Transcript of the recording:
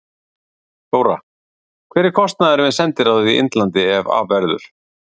Þóra: Hver er kostnaðurinn við sendiráð í Indlandi ef af verður?